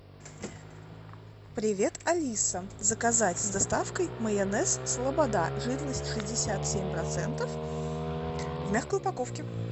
привет алиса заказать с доставкой майонез слобода жирность шестьдесят семь процентов в мягкой упаковке